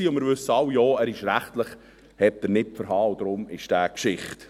Wir alle wissen auch, er hielt rechtlich nicht stand, und deshalb ist er Geschichte.